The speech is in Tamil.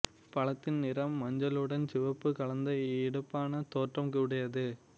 பழத்தின் நிறம் மஞ்சளுடன் சிவப்பு கலந்த எடுப்பான தோற்றம் உடையது